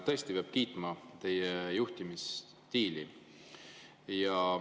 Tõesti peab kiitma teie juhtimisstiili.